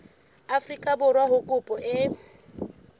afrika borwa ha kopo e